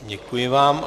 Děkuji vám.